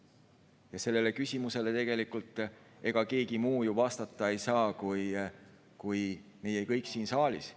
Ega sellele küsimusele tegelikult ei saa vastata keegi muu vastata kui meie kõik siin saalis.